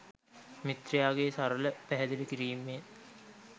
මිත්‍රයාගේ සරල පැහැදිලි කිරීමෙන්